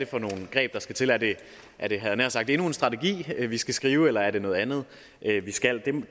for nogle greb der skal til er det er det endnu en strategi vi skal skrive eller er det noget andet vi skal